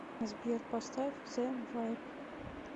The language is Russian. сбер поставь зэ вайб